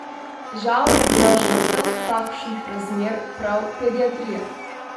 Žal je bila žrtev takšnih razmer prav pediatrija.